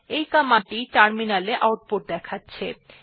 এই কমান্ড টি টার্মিনাল এ আউটপুট দেখাছে